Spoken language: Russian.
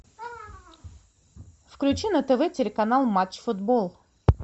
включи на тв телеканал матч футбол